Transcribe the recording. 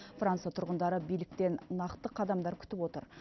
франция тұрғындары биліктен нақты қадамдар күтіп отыр